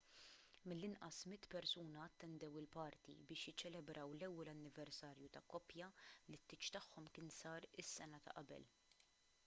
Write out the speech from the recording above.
mill-inqas 100 persuna attendew il-party biex jiċċelebraw l-ewwel anniversarju ta' koppja li t-tieġ tagħhom kien sar is-sena ta' qabel